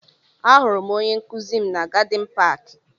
Ahụrụ m onye nkụzi m na Gadin paaki.